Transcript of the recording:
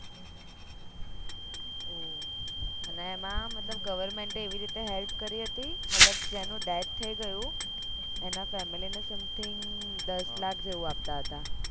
ઓહ અને એમાં મતલબ government એ એવી રીતે help કરી હતી મતલબ જેનું death થય ગયું એના family ને something દસ લાખ જેવું આપતા હતા